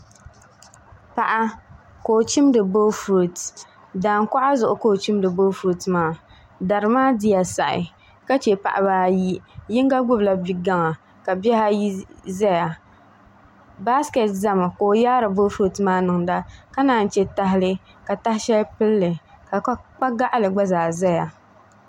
Paɣa ka o chimdi boofurooto daankuɣa zuɣu ka o chimdi boofurooto maa dari maa diya saɣi ka chɛ paɣaba ayi yino gbubila bi gaŋa ka bihi ayi ʒɛya baasikeeti ʒɛmi ka o yaari boofurooto maa niŋda ka naan chɛ tahali ka taha shɛli pilli ka kpa gaɣali gba zaa ʒɛya